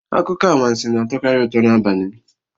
Akụkọ anwansi na-atọkarị ụtọ n'abalị